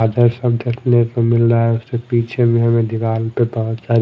देखने को मिल रहा है उसके पीछे में दीवाल पे बहोत सारी--